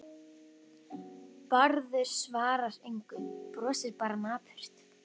Bárður svarar engu, brosir bara napurt.